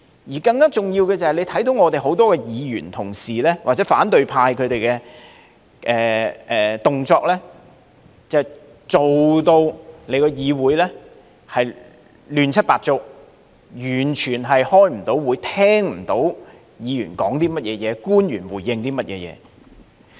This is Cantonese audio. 此外，更重要的是，大家看到我們很多議員同事，或者反對派的動作，搞到議會亂七八糟，完全開不到會，聽不到議員的發言及官員的回應。